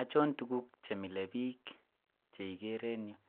Ochon tukuk chemile bik cheokere en yuu,